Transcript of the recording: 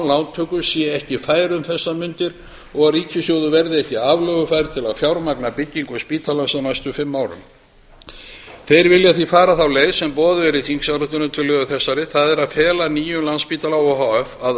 lántöku sé ekki fær um þessar mundir og að ríkissjóður verði ekki aflögufær til að fjármagna byggingu spítalans á næstu fimm árum þeir vilja því fara þá leið sem boðuð er í þingsályktunartillögu þessari það er að fela nýjum landspítala o h f að